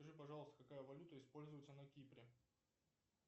скажи пожалуйста какая валюта используется на кипре